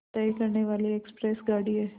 तय करने वाली एक्सप्रेस गाड़ी है